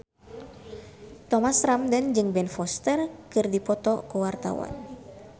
Thomas Ramdhan jeung Ben Foster keur dipoto ku wartawan